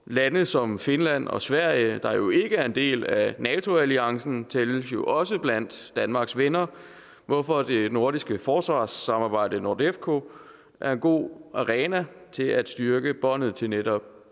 lande som finland og sverige der jo ikke er en del af nato alliancen tælles jo også blandt danmarks venner hvorfor det nordiske forsvarssamarbejde nordefco er en god arena til at styrke båndet til netop